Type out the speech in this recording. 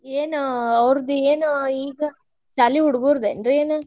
ಏನು ಅವರ್ದ ಏನ್ ಈಗ ಶಾಲಿ ಹುಡಗೋರ್ದನ್ರಿ ಏನು?